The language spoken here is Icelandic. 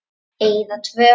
Eyða tvö.